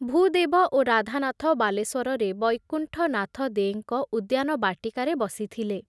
ଭୂଦେବ ଓ ରାଧାନାଥ ବାଲେଶ୍ଵରରେ ବୈକୁଣ୍ଠନାଥ ଦେଙ୍କ ଉଦ୍ୟାନ ବାଟିକାରେ ବସିଥିଲେ ।